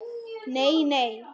Nei, nei.